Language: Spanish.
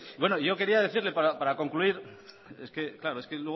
es que claro es que luego